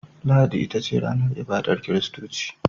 Lahadi ita ce ranar ibadar kiristoci.